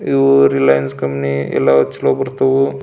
ಇವು ರಿಲಯನ್ಸ್ ಕಂಪನಿ ಎಲ್ಲವೂ ಚಲೋ ಬರ್ತಾವು.